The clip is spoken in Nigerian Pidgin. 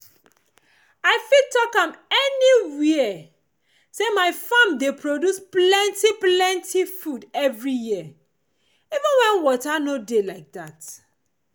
i fit talk am any where say my farm dey produce plenti plenti food every year even when water no dey like that